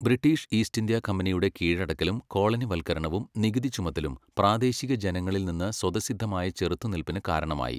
British East India കമ്പനിയുടെ കീഴടക്കലും കോളനിവൽക്കരണവും നികുതി ചുമത്തലും പ്രാദേശിക ജനങ്ങളിൽ നിന്ന് സ്വതസിദ്ധമായ ചെറുത്തുനിൽപ്പിന് കാരണമായി.